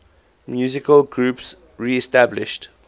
musical groups reestablished